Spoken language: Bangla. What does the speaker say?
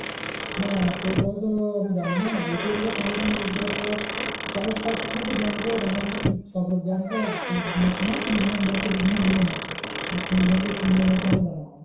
না সে ভাবে তো আমি জানি না ATM টা সঙ্গে সঙ্গে use করার পর charge কাটে কি না bank এ জানে এবার কি বিভিন্ন bank এ বিভিন্ন নিয়ম আছে। এবার কোন bank এ কি নিয়ম আছে আমার জানা নেই।